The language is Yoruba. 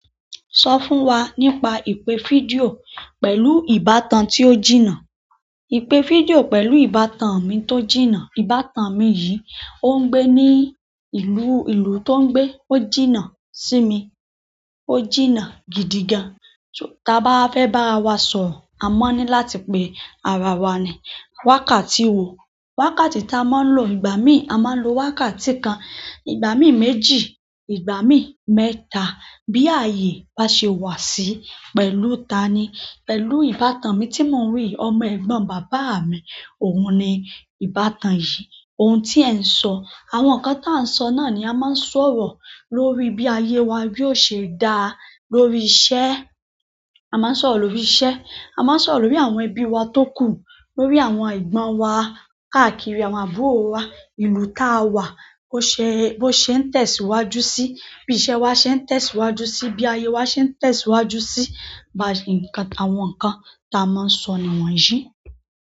Sọ fún wa nípa ìpè fídíò pẹ̀lú ìbátan tí ó jìnnà. Ìpè fídíò pẹ̀lú ìbátan mi tó jìnnà. Ìbátan mi yìí, ó ń gbé ní ìlú, ìlú tó ń gbé ó jìnnà sí mi, ó jìnnà gidi gan. Tí a bá fẹ́ bárawa sọ̀rọ̀, a máa ní láti pe ara wa ní wákàtí wo. Wákàtí tí a máa ń lò. Ìgbà míì a máa ń lo wákàtí kan, ìgbà míì méjì, ìgbà míì mẹ́ta. Bí ayé bá ṣe wà sí pẹ̀lú ta ni? Pẹ̀lú ìbátan mi tí mò ń rí, ọmọ ẹ̀gbọ́n bàbá mi. Òun ni ìbátan yìí. Ohun tí ẹ̀ ń sọ, àwọn nǹkan tí a ń sọ náà ni a máa ń sọ̀rọ̀ lórí bí ayé wa yóò ṣe dáa, lórí iṣẹ́. A máa ń sọ̀rọ̀ lórí iṣẹ́, a máa ń sọ̀rọ̀ lórí àwọn ẹbí wa tó kù, lórí àwọn ẹ̀gbọ́n wa káàkiri àwọn àbúrò wa. Ìlú tá a wà bó ṣe ń tẹ̀síwájú sí i, bí iṣẹ́ wa ṣe ń tẹ̀síwájú sí í, bí ayé wa ṣe ń tẹ̀síwájú sí í. Àwọn nǹkan tí a máa ń sọ nìwọ̀nyí.